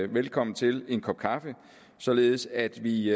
velkommen til en kop kaffe således at vi